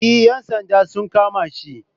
E ‘yan sanda sun kama shi.